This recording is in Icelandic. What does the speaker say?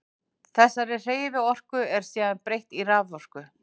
Þessari hreyfiorku er síðan breytt í raforku.